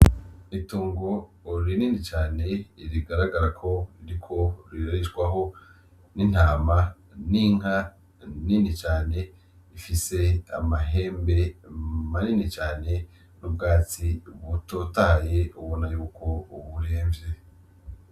Itongo rinini cane rigaragara ko ririko rirarishwaho n'intama n'inka nini cane ifise amahembe manini cane mu bwatsi butotahaye ubona yuko buremvye.